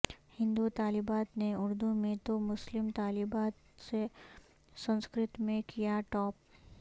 ہندو طالبات نے اردو میں تو مسلم طالبات نے سنسکرت میں کیا ٹاپ